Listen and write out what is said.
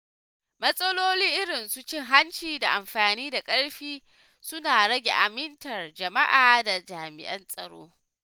Matsaloli irin su cin hanci da amfani da ƙarfi suna rage amintar jama’a da jami'an tsaro.